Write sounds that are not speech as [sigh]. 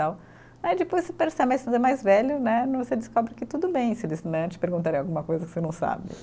Tal, aí depois você percebe, [unintelligible] é mais velho né, mas você descobre que tudo bem se eles né, te perguntarem alguma coisa que você não sabe.